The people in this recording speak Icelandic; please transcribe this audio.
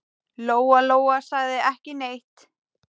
Lóa-Lóa sagði ekki neitt.